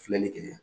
Filɛlikɛ